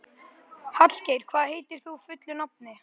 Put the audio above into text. Hallgeir, hvað heitir þú fullu nafni?